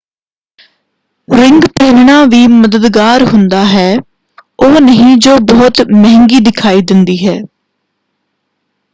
Ring ਪਹਿਨਣਾ ਵੀ ਮਦਦਗਾਰ ਹੁੰਦਾ ਹੈ ਉਹ ਨਹੀਂ ਜੋ ਬਹੁਤ ਮਹਿੰਗੀ ਦਿਖਾਈ ਦਿੰਦੀ ਹੈ।